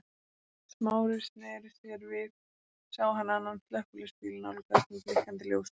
Smári sneri sér við sá hann annan slökkviliðsbíl nálgast með blikkandi ljósum.